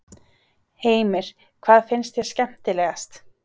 Heimir: Hvað finnst þér skemmtilegast?